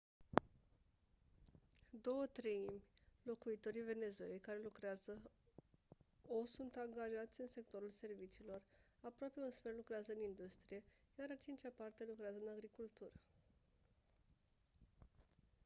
două treimi locuitorii venezuelei care lucrează o sunt angajați în sectorul serviciilor aproape un sfert lucrează în industrie iar a cincea parte lucrează în agricultură